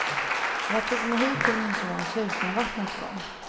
Jag tog mig hit till min sons hus när vattnet kom.